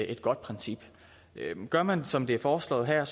et godt princip gør man som det er foreslået her